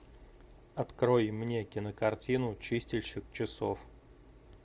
открой мне кинокартину чистильщик часов